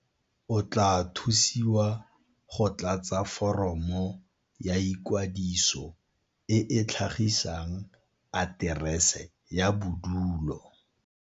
O tla thusiwa go tlatsa foromo ya ikwadiso e e tlhagisang aterese ya bodulo.